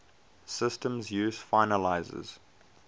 systems use finalizers